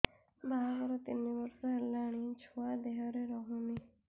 ବାହାଘର ତିନି ବର୍ଷ ହେଲାଣି ଛୁଆ ଦେହରେ ରହୁନି